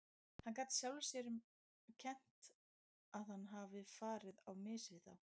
Hann gat sjálfum sér um kennt að hann hafði farið á mis við þá.